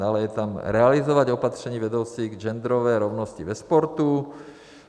Dále je tam realizovat opatření vedoucí k genderové rovnosti ve sportu.